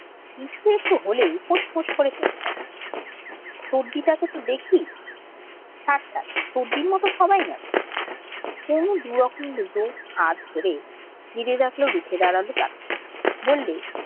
কিছু একটু হলেই ফোসফোস করে কেঁদে দেয় ছোড়দিটাকে তো দেখি থাক ছাড় ছোড়দির মতো সবাই না কুমু দু'রকম দুটো হার ছেড়ে ভেবে দেখল রুখে দাঁড়াবে তাকে বললে